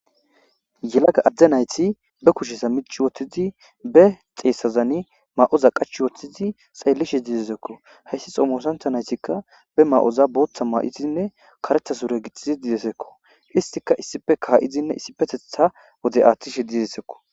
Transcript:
Yelaga adde nayti be kushesa mici wothtidi be xeessazani ma'oza qach wothtidi xeellishe diizezekko hayssi xoomoosantha naytikka be ma'oza booththa maa'itinne karethasure gixizi didesekko istika issife kaaizinne issipetetha wode aathtishe didesekko.